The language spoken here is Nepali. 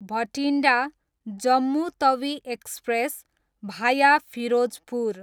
भटिन्डा, जम्मु तवी एक्सप्रेस, भाया फिरोजपुर